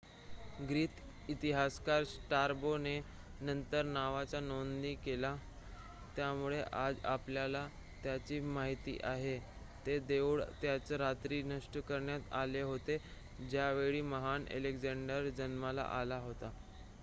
Greek इतिहासकार Strabo ने नंतर नावाची नोंद केली त्यामुळे आज आपल्याला त्याची माहिती आहे ते देऊळ त्याच रात्री नष्ट करण्यात आले होते ज्यावेळी महान अलेक्झांडर जन्माला आला होता